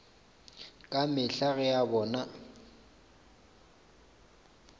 ka mehla ge a bona